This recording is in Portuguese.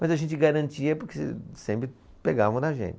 Mas a gente garantia porque sempre pegavam a da gente.